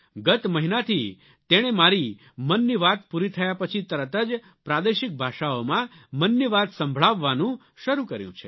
ગત મહિનાથી તેણે મારી મનની વાત પૂરી થયા પછી તરત જ પ્રાદેશિક ભાષાઓમાં મનની વાત સંભળાવવાનું શરૂ કર્યું છે